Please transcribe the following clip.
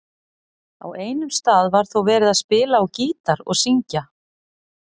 Á einum stað var þó verið að spila á gítar og syngja.